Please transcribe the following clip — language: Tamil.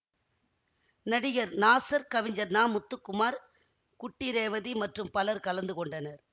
நடிகர் நாசர் கவிஞர் நா முத்துக்குமார் குட்டி ரேவதி மற்றும் பலர் கலந்து கொண்டனர்